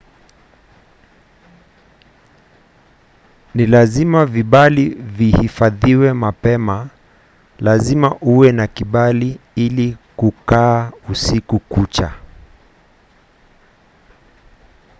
ni lazima vibali vihifadhiwe mapema. lazima uwe na kibali ili kukaa usiku kucha